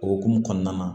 O hokumu kɔnɔna na